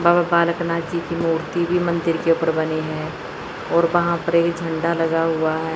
बाबा बालक नाथ जी की मूर्ति भी मंदिर के ऊपर बनी है और वहां पर एक झंडा लगा हुआ है।